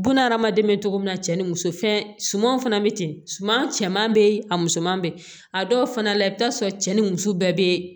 Buna hadamaden bɛ cogo min na cɛ ni muso fɛn sumanw fana bɛ ten suman cɛman bɛ yen a musoman bɛ yen a dɔw fana la i bɛ taa sɔrɔ cɛ ni muso bɛɛ bɛ